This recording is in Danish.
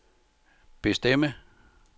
bestemme